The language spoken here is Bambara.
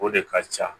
O de ka ca